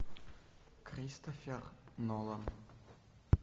кристофер нолан